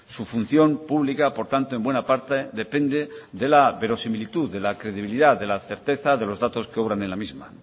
su función pública por tanto en buena parte depende de la verosimilitud de la credibilidad de la certeza de los datos que obran en la misma